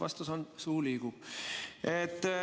Vastus on: suu liigub.